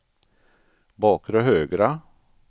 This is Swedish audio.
bakre högra